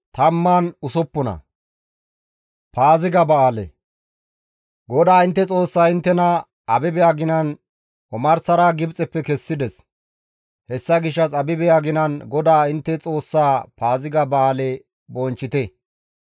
GODAA intte Xoossay inttena Abibe aginan omarsara Gibxeppe kessides; hessa gishshas Abibe aginan GODAA intte Xoossaa Paaziga ba7aale bonchchite.